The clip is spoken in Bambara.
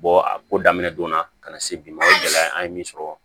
a ko daminɛ donna ka na se bi ma o gɛlɛya in an ye min sɔrɔ